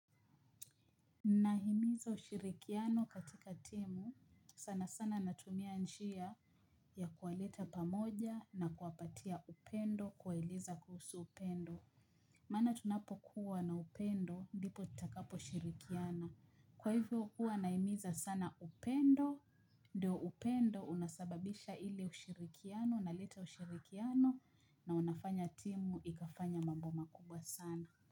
Nahimiza ushirikiano katika timu sana sana natumia njia ya kuwaleta pamoja na kuwapatia upendo kuwaeleza kuhusu upendo. Maana tunapokuwa na upendo ndipo tutakapo shirikiana. Kwa hivyo huwa nahimiza sana upendo ndio upendo unasababisha hili ushirikiano na unaleta ushirikiano na unafanya timu ikafanya mambo makubwa sana.